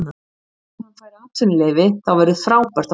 Ef hann fær atvinnuleyfi þá verður frábært að fá hann.